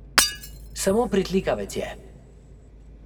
Samo pritlikavec je.